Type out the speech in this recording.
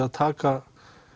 að taka